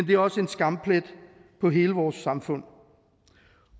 det er også en skamplet på hele vores samfund